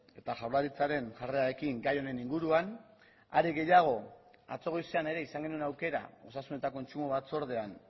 eta jaurlaritzaren jarrerarekin gai honen inguruan are gehiago atzo goizean ere izan genuen aukera osasun eta kontsumo batzordean